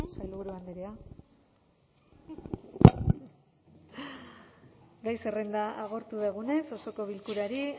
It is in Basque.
representantes eskerrik asko sailburu andrea gai zerrenda agortu dugunez osoko bilkurari